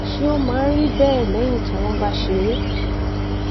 ṣé ó máa ń rí bẹẹ lẹyìn tí wọn bá ṣe é